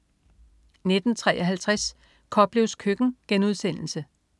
19.53 Koplevs Køkken*